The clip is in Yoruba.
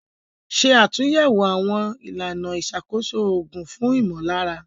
Ṣe àtúnyẹ̀wò àwọn ìlànà ìṣàkóso òògùn fún ìmọ̀lára.